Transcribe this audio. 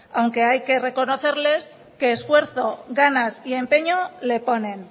aunque hay que reconocerles que esfuerzo ganas y empeño le ponen